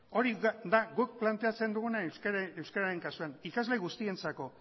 hori da guk planteatzen duguna euskararen kasuan ikasle guztientzako